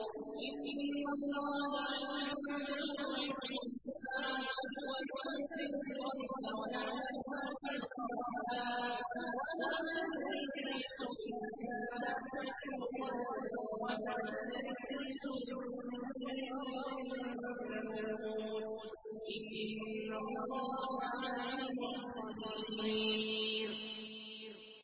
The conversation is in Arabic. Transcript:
إِنَّ اللَّهَ عِندَهُ عِلْمُ السَّاعَةِ وَيُنَزِّلُ الْغَيْثَ وَيَعْلَمُ مَا فِي الْأَرْحَامِ ۖ وَمَا تَدْرِي نَفْسٌ مَّاذَا تَكْسِبُ غَدًا ۖ وَمَا تَدْرِي نَفْسٌ بِأَيِّ أَرْضٍ تَمُوتُ ۚ إِنَّ اللَّهَ عَلِيمٌ خَبِيرٌ